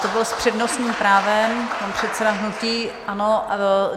To byl s přednostním právem pan předseda hnutí ANO.